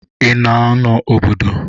Ị na-anọ n'obodo?